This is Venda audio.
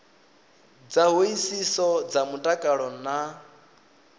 dza hoisiso dza mutakalo na